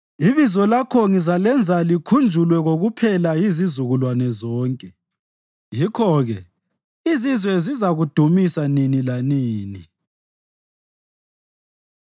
Ibizo lakho ngizalenza likhunjulwe kokuphela yizizukulwane zonke; yikho-ke izizwe zizakudumisa nini lanini.